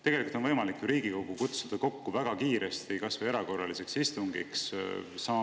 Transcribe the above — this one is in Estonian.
Tegelikult on võimalik ju Riigikogu kutsuda kokku väga kiiresti kas või erakorraliseks istungiks.